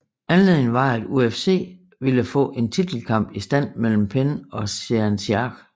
Anledningen var at UFC ville få en titelkamp i stand mellem Penn ocg Sean Sherk